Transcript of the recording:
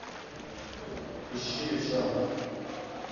ищи левша